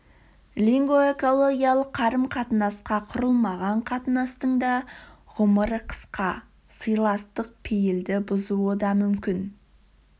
лингвоэкологиялық қарым-қатынасқа құрылмаған қатынастың да ғұмыры қысқа сыйластық пейілді бұзуы да мүмкін